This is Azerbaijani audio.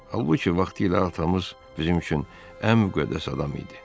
Halbuki, vaxtilə atamız bizim üçün ən müqəddəs adam idi.